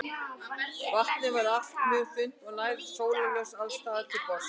Vatnið er allt mjög grunnt og nær sólarljós alls staðar til botns.